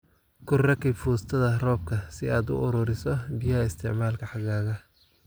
Ku rakib foostada roobka si aad u ururiso biyaha isticmaalka xagaaga